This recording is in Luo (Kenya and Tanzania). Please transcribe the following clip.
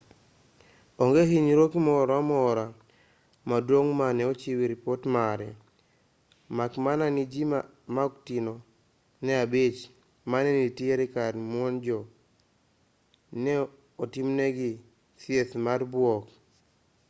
onge hinyruok moro amora maduong' mane ochiw ripot mare mak mana ni ji ma oktin ne abich mane nitiere kar muojno ne otimnegi thieth mar buok